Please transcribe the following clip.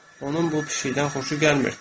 Onun bu pişikdən xoşu gəlmir.